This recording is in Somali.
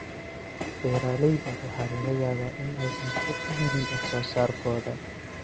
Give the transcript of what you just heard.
Beeralayda waxaa laga yaabaa in aysan suuq u helin wax soo saarkooda.